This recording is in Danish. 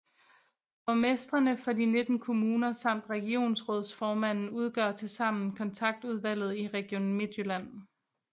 Borgmestrene for de 19 kommuner samt regionsrådsformanden udgør tilsammen Kontaktudvalget i Region Midtjylland